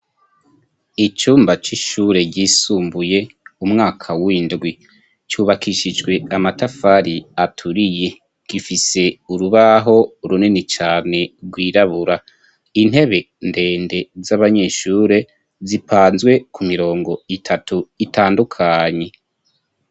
Icumba c'ishure ryisumbuye m'umwaka w'indwi cubakishijwe amatafari aturiye gifise urubaho runini cane rwirabura, intebe ndende z'abanyeshure zipanzwe kumirongo itatu itandukanye.